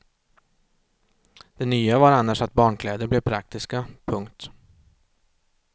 Det nya var annars att barnkläder blev praktiska. punkt